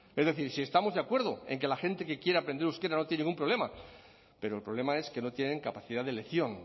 es decir si estamos de acuerdo en que la gente que quiere aprender euskera no tiene ningún problema pero el problema es que no tienen capacidad de elección